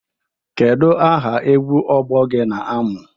Kedu aha egwu ọgbọ gị na-amụ?